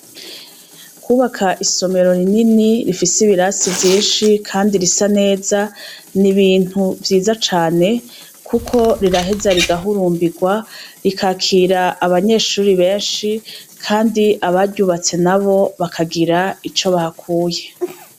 Kubaka isomero rinini rifise ibirasi vyinshi, kandi risa neza ni ibintu vyiza cane, kuko riraheza rigahurumbirwa rikakira abanyeshuri benshi, kandi abaryubatse nabo bakagira ico bahakuye.